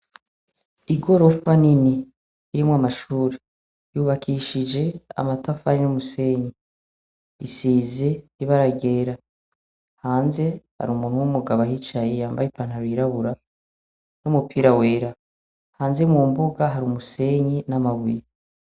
Ingorofa nini irimwo amashure yubakishije amatafari n’umusenyi isize ibara ryera hanze hari umuntu w’umugabo ahicaye yambaye ipantaro y’irabura n’umupira wera. Hanze mu mbuga hari umusenyi n’amabuye.